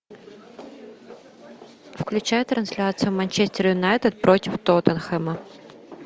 включай трансляцию манчестер юнайтед против тоттенхэма